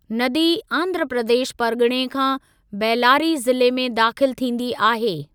नदी आंध्र प्रदेश परगि॒णे खां बेल्लारी ज़िले में दाख़िलु थींदी आहे।